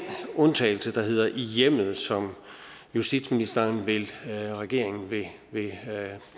undtagelse der hedder i hjemmet som justitsministeren og regeringen vil